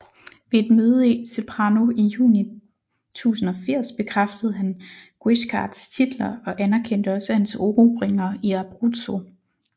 Ved et møde i Ceprano i juni 1080 bekræftede han Guiscards titler og anerkendte også hans erobringer i Abruzzo